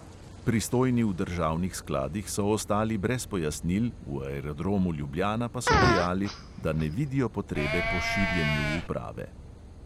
Pristojni v državnih skladih so ostali brez pojasnil, v aerodromu ljubljana pa so dejali, da ne vidijo potrebe po širjenju uprave.